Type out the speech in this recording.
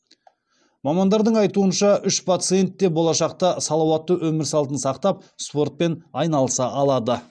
мамандардың айтуынша үш пациент те болашақта салауатты өмір салтын сақтап спортпен айналыса алады